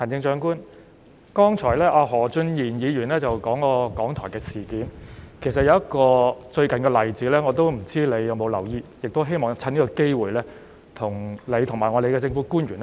行政長官，剛才何俊賢議員提及香港電台的事件，其實最近亦有一個例子，不知道你有否留意，我亦希望藉此機會，向你和各位政府官員說說。